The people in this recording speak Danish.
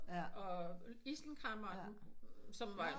Og isenkræmmeren som var